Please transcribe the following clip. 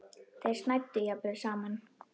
Þeir snæddu jafnvel saman.